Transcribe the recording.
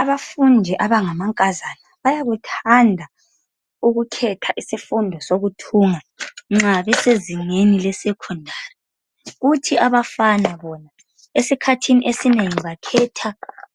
Abafundi abangamankazana bayakuthanda ukukhetha isifundo esokuthunga nxa besezingeni lesekhondari kuthi abafana esikhathini esinengi bakhetha